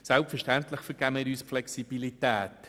Selbstverständlich vergeben wir uns die Flexibilität.